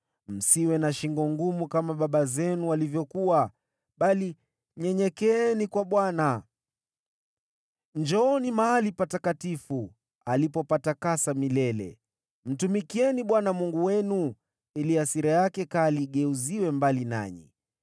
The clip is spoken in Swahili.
Msiwe na shingo ngumu, kama baba zenu walivyokuwa, bali nyenyekeeni kwa Bwana . Njooni mahali patakatifu, alipopatakasa milele. Mtumikieni Bwana Mungu wenu, ili hasira yake kali igeuziwe mbali nanyi.